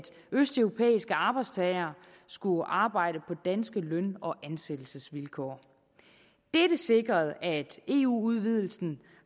østeuropæiske arbejdstagere skulle arbejde på danske løn og ansættelsesvilkår dette sikrede at eu udvidelsen